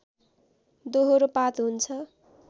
दोहोरो पात हुन्छ